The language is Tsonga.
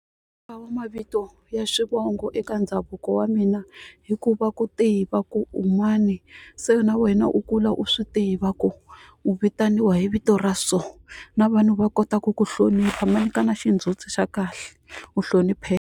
wa mavito ya xivongo eka ndhavuko wa mina hikuva ku tiva ku un'wani se na wena u kula u swi tiva ku u vitaniwa hi vito ra so na vanhu va kota ku ku hlonipha ma nyikana xindzhuti xa kahle u hlonipheka.